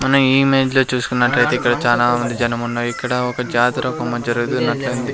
మనం ఈ ఇమేజ్ లో చుస్కునట్లు అయితే ఇక్కడ చానా మంది జనం ఉన్నారు. ఇక్కడ ఒక జాతర జరుగుతున్నట్లు ఉంది.